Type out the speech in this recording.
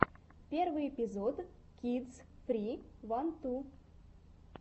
первый эпизод кидс фри ван ту